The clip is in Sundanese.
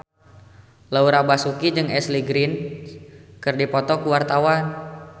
Laura Basuki jeung Ashley Greene keur dipoto ku wartawan